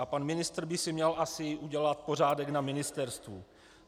A pan ministr by si měl asi udělat pořádek na ministerstvu.